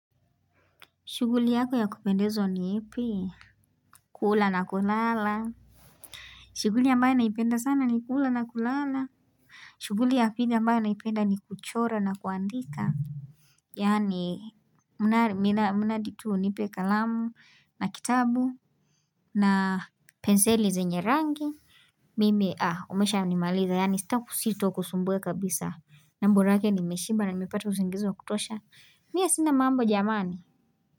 Shughuli yako ya kupendezo ni epe? Kula na kulala. Shughuli yambaya naipenda sana ni kula na kulala. Shuguli ya pidi yambaya naipenda ni kuchora na kuandika. Yaani, muna ditu nipe kalamu na kitabu na penseli zenye rangi. Mimi, ah, umesha ni maliza. Yani, sita kusito kusumbwe kabisa. Na borake ni meshiba na mipata usingizo kutosha. Mia sina mambo jamani.